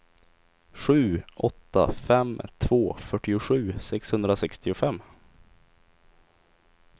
sju åtta fem två fyrtiosju sexhundrasextiofem